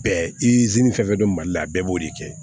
Bɛɛ izini fɛn fɛn don mali la a bɛɛ b'o de kɛ